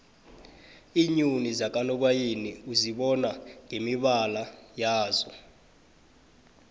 iinyoni zakanobayeni uzibona ngemibala yazo